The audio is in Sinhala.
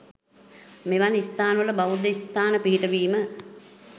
මෙවන් ස්ථනවල බෞද්ධ ස්ථාන පිහිටවීම